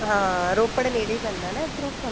ਹਾਂ ਰੋਪੜ ਨੇੜੇ ਹੀ ਪੈਂਦਾ ਨਾ ਇੱਧਰੋ